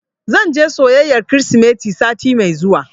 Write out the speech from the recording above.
Zan je soyayyar Kirsimeti sati mai zuwa.